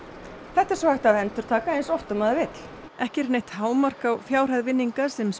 þetta er svo hægt að endurtaka eins oft og maður vill ekki er neitt hámark á fjárhæð vinninga sem